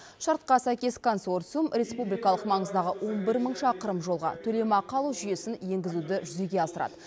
шартқа сәйкес консорциум республикалық маңыздағы он бір мың шақырым жолға төлемақы алу жүйесін енгізуді жүзеге асырады